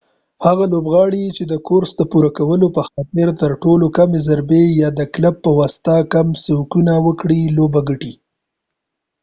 هغه لوبغاړی چې د کورس د پوره کولو په خاطر تر ټولو کم ضربی یا د کلب په واسطه کم سوينګونه وکړي لوبه ګټی